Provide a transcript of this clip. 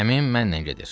Əmim mənlə gedir.